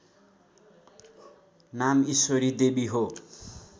नाम इश्वरीदेवी हो